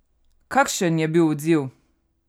Kakšen je bil odziv?